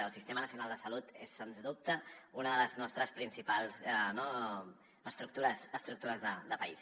el sistema nacional de salut és sens dubte una de les nostres principals estructures de país